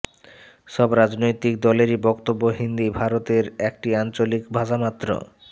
সব রাজনৈতিক দলেরই বক্তব্য হিন্দি ভারতের একটি আঞ্চলিক ভাষামাত্র